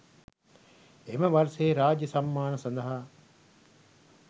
එම වර්ෂයේ රාජ්‍ය සම්මාන සඳහා